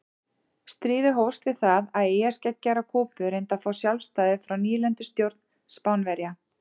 Stríðið hófst við það að eyjarskeggjar á Kúbu reyndu að fá sjálfstæði frá nýlendustjórn Spánverja.